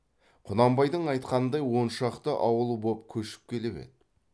құнанбайдың айтқанындай он шақты ауылы боп көшіп келіп еді